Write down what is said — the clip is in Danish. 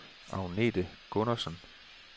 Agnete Gundersen